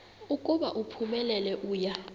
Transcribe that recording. ukuba uphumelele uya